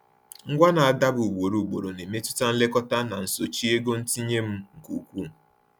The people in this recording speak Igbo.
Ngwa na-adaba ugboro ugboro na-emetụta nlekọta na nsochi ego ntinye m nke ukwuu.